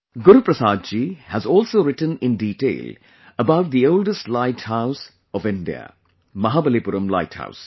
Guru Prasad ji has also written in detail about the oldest light house of India Mahabalipuram light house